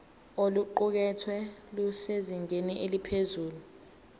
oluqukethwe lusezingeni eliphezulu